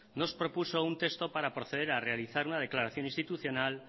nos propuso un texto para proceder a realizar una declaración institucional